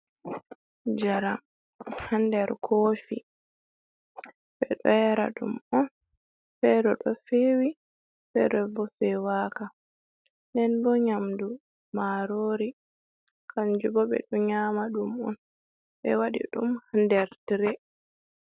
Njaram ha nder kofi ɓe ɗo yara ɗum on fere ɗo fewi fere ɓo fewaka, nden bo nyamdu marori kanjubo ɓe ɗo nyama ɗum on, ɓe waɗi ɗum ha nder tre.